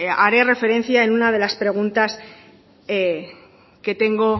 haré referencia en una de las preguntas que tengo